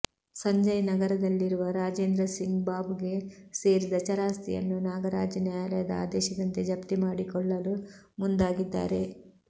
ಸಂಜಯ್ನಗರದಲ್ಲಿರುವ ರಾಜೇಂದ್ರಸಿಂಗ್ಬಾಬುಗೆ ಸೇರಿದ ಚರಾಸ್ತಿಯನ್ನು ನಾಗರಾಜ್ ನ್ಯಾಯಾಲಯದ ಆದೇಶದಂತೆ ಜಫ್ತಿ ಮಾಡಿಕೊಳ್ಳಲು ಮುಂದಾಗಿದ್ದಾರೆ